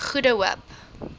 goede hoop